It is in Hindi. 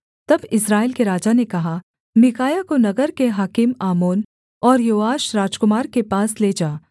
तब इस्राएल के राजा ने कहा मीकायाह को नगर के हाकिम आमोन और योआश राजकुमार के पास ले जा